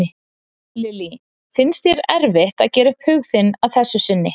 Lillý: Finnst þér erfitt að gera upp hug þinn að þessu sinni?